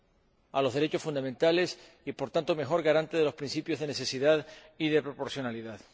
relativo a los derechos fundamentales y sea, por tanto, la mejor garante de los principios de necesidad y de proporcionalidad.